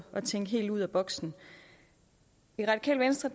at tænke helt ud af boksen i radikale venstre